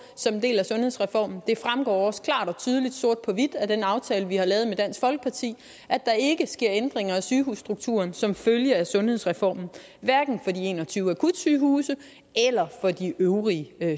som en del af sundhedsreformen det fremgår også klart og tydeligt sort på hvidt af den aftale vi har lavet med dansk folkeparti at der ikke sker ændringer i sygehusstrukturen som følge af sundhedsreformen hverken for de en og tyve akutsygehuse eller for de øvrige